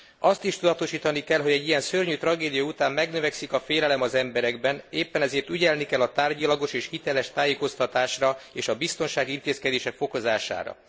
Azt is tudatosítani kell, hogy egy ilyen szörnyű tragédia után megnövekszik a félelem az emberekben, éppen ezért ügyelni kell a tárgyilagos és hiteles tájékoztatásra és a biztonsági intézkedések fokozására.